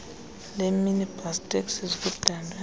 leeminibus taxis kudalwe